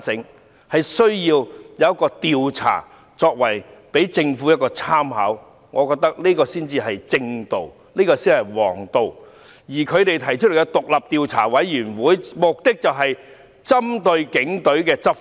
我覺得有需要進行調查供政府參考，這才是正道和王道，而反對派提出成立專責委員會的目的，是針對警隊執法。